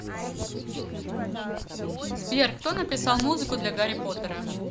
сбер кто написал музыку для гарри поттера